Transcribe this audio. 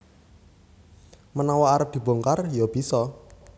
Menawa arep dibongkar ya bisa